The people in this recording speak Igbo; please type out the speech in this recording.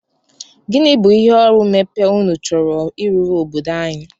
Gịnị bụ ihe ọrụ mmepe unu chọrọ ịrụrụ obodo anyị?